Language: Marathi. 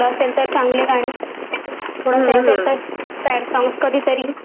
थोडं सेंटी असे तर सॅड सॉंग्स कधीतरी नाहीतर मग, आपले ढिंचॅक वाले.